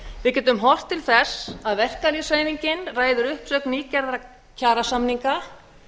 við getum horft til þess að verkalýðshreyfingin ræður uppsögn nýgerðra kjarasamninga